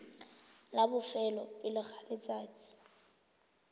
la bofelo pele ga letsatsi